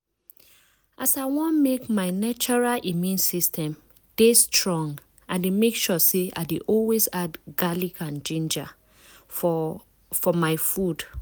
as i want make my natural immune system dey strong i dey make sure say i dey always add garlic and ginger um for my food.